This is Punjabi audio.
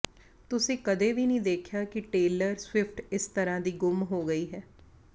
ਤੁਸੀਂ ਕਦੇ ਵੀ ਨਹੀਂ ਦੇਖਿਆ ਕਿ ਟੇਲਰ ਸਵਿਫਟ ਇਸ ਤਰ੍ਹਾਂ ਦੀ ਗੁੰਮ ਹੋ ਗਈ ਹੈ